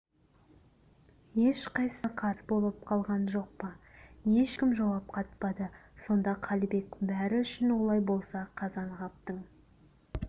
ешқайсыңа қарыз болып қалған жоқ па ешкім жауап қатпады сонда қалибек бәрі үшін олай болса қазанғаптың